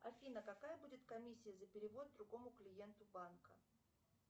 афина какая будет комиссия за перевод другому клиенту банка